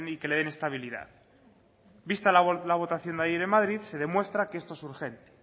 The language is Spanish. que le den estabilidad vista la votación ayer en madrid se demuestra que esto es urgente